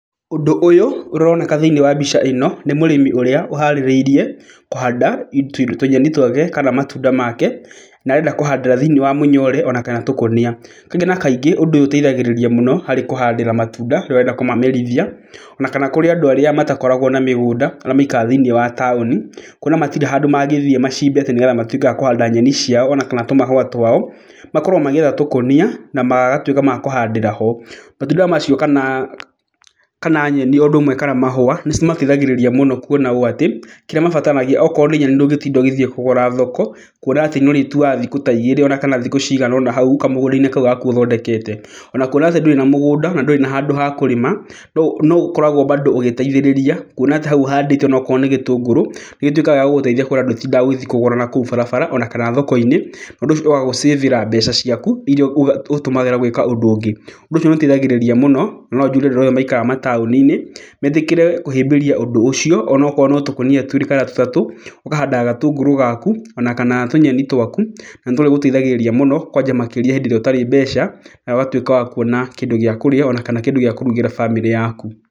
Ũndũ ũyũ ũroneka thĩiniĩ wa mbica ĩno nĩ mũrĩmi ũrĩa ũharĩrĩirie kũhanda tũnyeni twake, kana matunda make, na arenda kũhandĩra thĩiniĩ wa mũnyore ona kana tũkũnia. Kaingĩ na kaingĩ ũndũ ũyũ ũteithagĩrĩria harĩ kũhandĩra matunda, rĩrĩa ũrenda kũmamerithia, ona kana kũrĩ andũ arĩa matakoragwo na mĩgũnda, arĩa maikaraga thĩiniĩ wa taũni. Kuona atĩ matirĩ handũ mangĩthiĩ macimbe atĩ nĩgetha matuĩke akũhanda nyeni ciao ona akana tũmahũa twao, makoragwo magĩetha tũkũnia na magatuĩka akũhandĩra ho. Matunda macio o ũndũ ũmwe kana nyeni kana mahũa nĩ cimateithagĩrĩria mũno, kuona ũũ atĩ kĩrĩa mabataranagia okorwo nĩ nyeni ndũngĩtinda ũgĩthiĩ kũgũra thoko, kuona atĩ nĩ ũrĩtuaga thikũ ta igĩrĩ ona kana thikũ cigana ũna hau kamũgũnda-inĩ kau gaku ũthondekete. Ona kuona atĩ ndũrĩ na mũgũnda na ndũrĩ na handũ ha kũrĩma, no ũkoragwo bado ũgĩteitrhĩrĩria kuona atĩ hau ũhandĩte okorwo nĩ gĩtũngũrũ nĩ gĩtuĩkaga gĩa gũgũteithia kuona ndũtindaga ũgĩthiĩ kũgũra nakũu barabara ona kana thoko-inĩ. Ũndũ ũcio nĩ wagũcĩbĩra mbeca ciaku iria ũrĩtũmagĩra gwĩka ũndũ ũngĩ. Ũndũ ũcio nĩ ũteithagĩrĩria mũno na no njuge andũ acio maikaraga mataũni-inĩ metĩkĩre kũhĩmbĩria ũndũ ũcio onakorwo no tũkonia twĩrĩ kana tũtatũ, ũkahandaga gatũngũrũ gaku ona kana tũnyeni twaku, na nĩ tũrĩgũteithagĩriria mũno kwanja rĩrĩa ũtarĩ mbeca, na ũgatuĩka wa kuona kĩndũ gĩa kũrĩa ona kana kĩndũ gĩa kũrugĩra bamĩrĩ yaku.